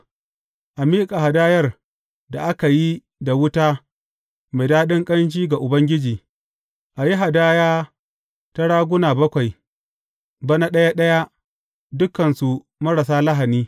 A miƙa hadayar da aka yi da wuta mai daɗin ƙanshi ga Ubangiji, a yi hadaya ta ƙonawa da bijimi guda, rago guda, da ’yan raguna bakwai, bana ɗaya ɗaya, dukansu marasa lahani.